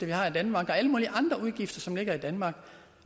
vi har i danmark og alle mulige andre udgifter som ligger i danmark